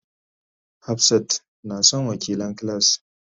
Hafsat na son wakilan class.